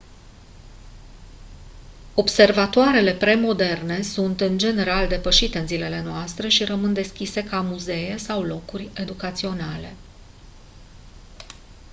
observatoarele pre-moderne sunt în general depășite în zilele noastre și rămân deschise ca muzee sau locuri educaționale